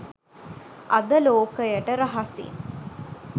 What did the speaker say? අද ලෝකයට රහසින්